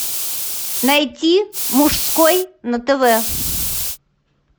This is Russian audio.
найти мужской на тв